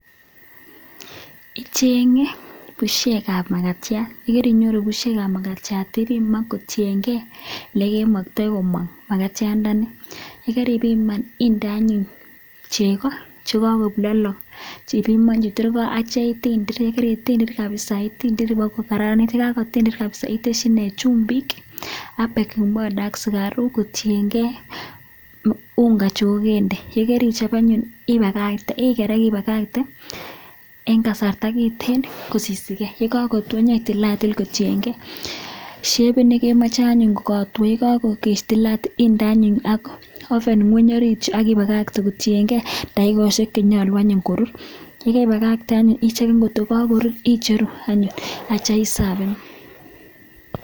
Icheng'e bushek ab magatiat, ye kerinyoru bushek ab magatiat ibiman kotiyenge ele kemoktoi komong magatiandani. Ye keribiman inde anyun chego choto che lolong, ibimonchi ak kityo itindir, ye kaitindir kabisa itindir iboko kararanit ye kagotindir kabisa itesyi ine chumbik ak baking powder ak sugaruk kotienge unga chu kogende. Ye kerichob anyun iger ak ibakakte en kasarta kiten kosisige. Ye kagotwo inyei tilatil kotienge shepit ne kemoche anyun kogatwo. Ye kaitilatil inde anyun oven ngweny orit yun ak ibakakte kotienge dakikoshek che nyolu anyun korur. Ye keibakate anyun ichegen kotokokorur icheru anyun ak kityo isafen.